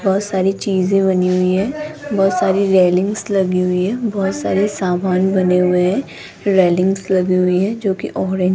बहोत सारी चीजें बनी हुई हैं बहोत सारी रेलिंग्स लगी हुई है बहोत सारे समान बने हुए हैं रेलिंग्स लगी हुई हैं जो की ओरे --